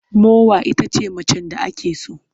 Mowa ita ce macen da ake so.